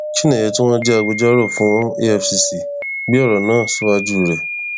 chinéyé tí wọn jẹ agbẹjọrò fún efcc gbé ọrọ náà síwájú rẹ